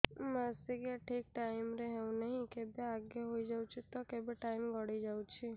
ମାସିକିଆ ଠିକ ଟାଇମ ରେ ହେଉନାହଁ କେବେ ଆଗେ ହେଇଯାଉଛି ତ କେବେ ଟାଇମ ଗଡି ଯାଉଛି